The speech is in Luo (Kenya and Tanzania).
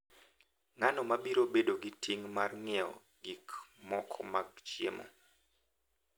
Ng’ano ma biro bedo gi ting’ mar nyiewo gik moko mag chiemo,